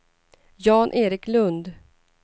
Jan-Erik Lund